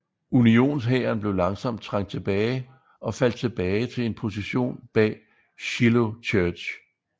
Unionshæren blev langsomt trængt tilbage og faldt tilbage til en position bag Shiloh Church